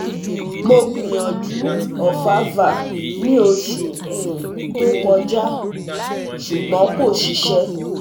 Mo gbiyanju Ovafar ni osu um to koja, ṣugbọn ko ṣiṣẹ